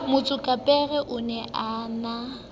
motsokapere o ne a na